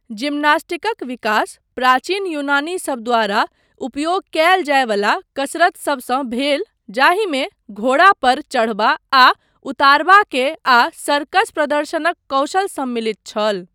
जिमनास्टिकक विकास प्राचीन यूनानीसब द्वारा उपयोग कयल जायवला कसरतसबसँ भेल जाहिमे घोड़ा पर चढ़बा आ उतारबा के आ सर्कस प्रदर्शनक कौशल सम्मिलित छल।